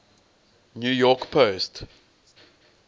new york post